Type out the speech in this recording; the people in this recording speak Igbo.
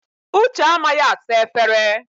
Uche amaghị asa efere.